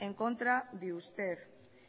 en contra de usted